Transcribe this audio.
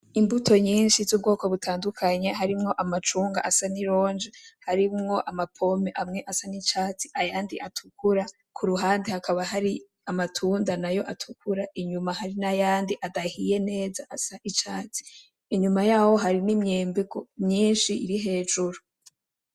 Imbuto nyinshi zubwoko butandukanye harimwo amacungwa asa nironji harimwo amapome amwe asa nicatsi ayandi atukura kuruhande hakaba hari amatunda nayo atukura inyuma hari nayandi adahiye neza asa nicatsi inyuma yaho harimwo nimyembe myinshi iri hejuru